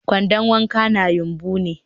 kwandon wanka na yumbu ne